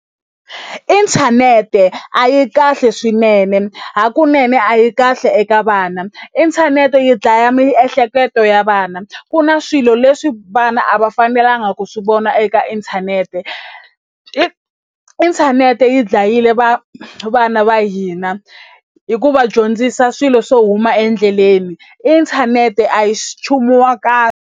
Inthanete a yi kahle swinene hakunene a yi kahle eka vana inthanete yi dlaya miehleketo ya vana ku na swilo leswi vana a va fanelanga ku swi vona eka inthanete i inthanete yi dlayile va vana va hina hi ku va dyondzisa swilo swo huma endleleni inthanete a yi swi nchumu wa kahle.